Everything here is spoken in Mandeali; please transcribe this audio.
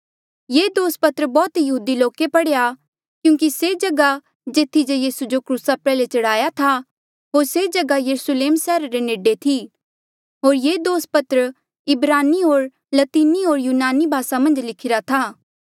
ये दोस पत्र बौह्त यहूदी लोके पढ़ेया क्यूंकि से जगहा जेथी जे यीसू जो क्रूसा प्रयाल्हे चढ़ाया था होर से जगहा यरुस्लेम सैहरा ले नेडे थी होर ये दोस पत्र इब्रानी होर लतीनी होर यूनानी भासा मन्झ लिखिरा था